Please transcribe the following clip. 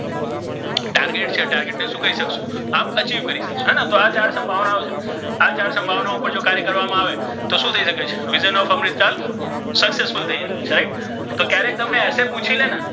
Target છે target ને શુ કરી શકશો આપ achieve કરી શકશો હે ને તો આ ચાર સમ્ભાવના ઓ છે આ ચાર સમ્ભાવનાઓ પર કાર્ય કરવામા આવે તો શુ થઇ શકે છે vision of Amritsar successful થઇ શકે છે right તો ક્યરેક તમને easy પુછી લે ને.